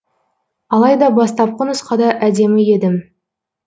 алайда бастапқы нұсқада әдемі едім